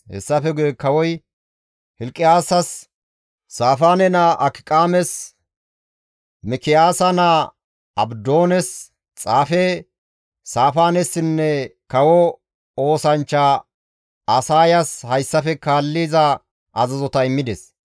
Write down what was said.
Hessafe guye kawoy Hilqiyaasas, Saafaane naa Akiqaames, Mikiyaasa naa Abdoones, xaafe Saafaanessinne kawo oosanchchaa Asaayas hayssafe kaalliza azazota immides.